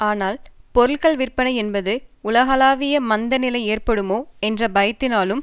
ஆனால் பொருட்கள் விற்பனை என்பது உலகளாவிய மந்த நிலை ஏற்படுமோ என்ற பயத்தினாலும்